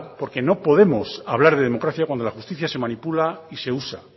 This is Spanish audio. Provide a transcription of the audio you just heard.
porque no podemos hablar de democracia cuando la justicia se manipula y se usa